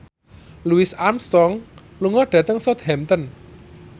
Louis Armstrong lunga dhateng Southampton